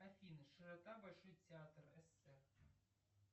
афина широта большой театр эссе